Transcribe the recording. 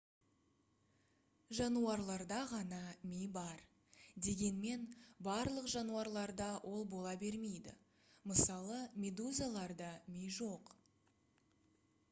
жануарларда ғана ми бар дегенмен барлық жануарларда ол бола бермейді мысалы медузаларда ми жоқ